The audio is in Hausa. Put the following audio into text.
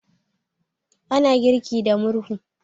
ana girki da murhu